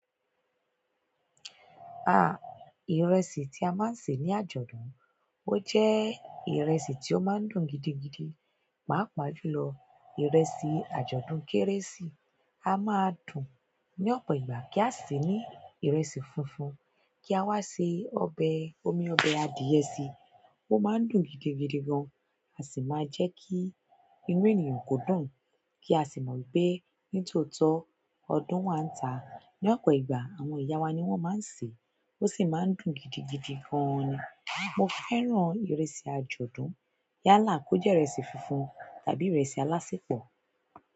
Ah! Ìrẹsì tí a máa ń sè ní àjọ̀dún, ó jẹ́ ìrẹsì tió máa ń dùn gidigidi. Pàápàá jùlọ ìrẹsì àjọ̀dún Kérésì a máa dùn ní ọ̀pọ̀ ìgbà kí a sì ní ìrẹsì funfun kí a wá ṣe ọbẹ̀, omi ọbẹ̀ adìẹ sí, ó máa ń dùn gidigidi gan. A sì máa jẹ́ kí inú ènìyàn kò dùn, kí a sì mọ̀ pé ní tòótọ́ ọdún wa ń ta. Ni ọ̀pọ̀ ìgbà àwọn ìyá wa ni wọ́n máa ń sè, ó sì máa ń dùn gidigidi gan ni. Mo fẹ́ràn ìrẹsì àjọ̀dún yálà kó jẹ́ ìrẹsì funfun tàbí ìrẹsì alásẹpọ̀.